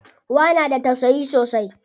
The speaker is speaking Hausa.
Uwa na da tausayi sosai.